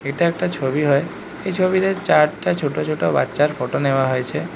এটা একটা ছবি হয় এই ছবিতে চারটা ছোট-ছোট বাচ্চার ফটো নেওয়া হয়েছে।